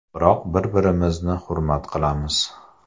Biroq bir-birimizni hurmat qilamiz.